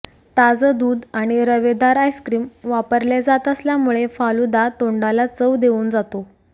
ताजं दूध आणि रवेदार आइस्क्रिम वापरले जात असल्यामुळे फालुदा तोंडाला चव देऊन जातो